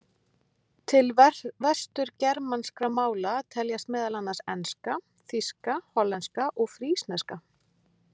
Til vesturgermanskra mála teljast meðal annars enska, þýska, hollenska og frísneska.